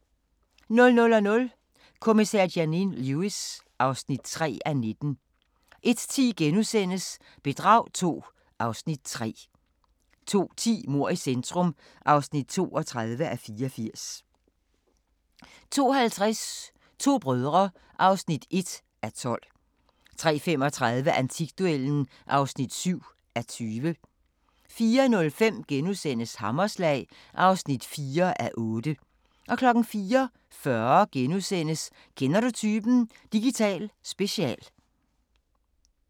00:00: Kommissær Janine Lewis (3:19) 01:10: Bedrag II (Afs. 3)* 02:10: Mord i centrum (32:84) 02:50: To brødre (1:12) 03:35: Antikduellen (7:20) 04:05: Hammerslag (4:8)* 04:40: Kender du typen? – Digital special *